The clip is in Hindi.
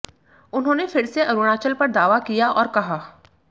उन्होंने फिर से अरुणाचल पर दावा किया और कहा